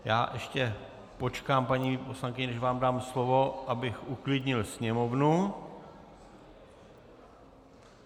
Já ještě počkám, paní poslankyně, než vám dám slovo, abych uklidnil sněmovnu.